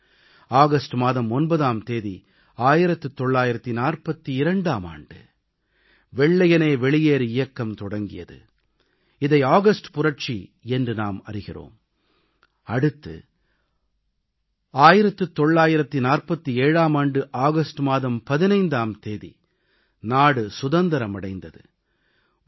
பின்னர் ஆகஸ்ட் மாதம் 9ஆம் தேதி 1942ஆம் ஆண்டு வெள்ளையனே வெளியேறு இயக்கம் தொடங்கியது இதை ஆகஸ்ட் புரட்சி என்றும் நாம் அறிகிறோம் அடுத்து 1947ஆம் ஆண்டு ஆகஸ்ட் மாதம் 15ஆம் தேதி நாடு சுதந்திரம் அடைந்தது